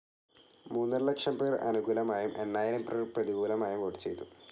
മൂന്നരലക്ഷം പേർ അനുകൂലമായും എണ്ണായിരം പേർ പ്രതികൂലമായും വോട്ട്‌ ചെയ്തു.